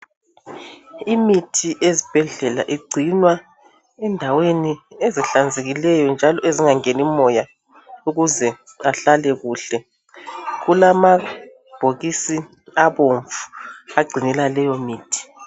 Imithi ezibhedlela igcinwa endaweni ezihlanzekileyo njalo ezingangeni moya ukuze ihlale kuhle. Kulamabhokisi abomvu agcina leyomithi.